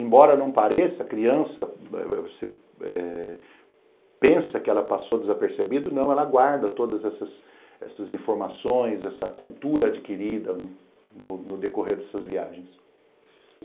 Embora não pareça, a criança eh pensa que ela passou desapercebida, não, ela guarda todas essas essas informações, essa cultura adquirida no no decorrer dessas viagens.